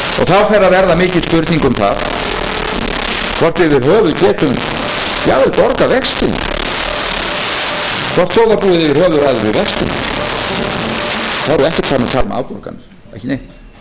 það sem við erum að borga á þessu ári og fleira til þá fer að verða mikil spurning um það hvort við yfir höfuð getum jafnvel borgað vextina hvort þjóðarbúið yfir höfuð ræður við vextina þá erum við ekkert farin að tala um afborganir ekki neitt